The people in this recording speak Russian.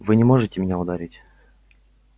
вы не можете меня ударить